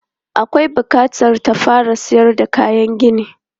Akwai bukatar ta fara sayar da kayan gini.